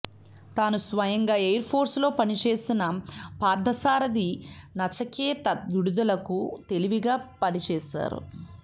తాను స్వయంగా ఎయిర్ ఫోర్సులో పనిచేసిన పార్థసారథి నచికేత విడుదలకు తెలివిగా పనిచేశారు